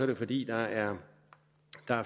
det fordi der er